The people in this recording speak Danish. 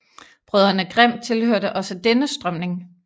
Brødrene Grimm tilhørte også denne strømning